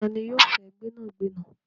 Tani yóò fẹ gbẹnàgbẹ̀nà?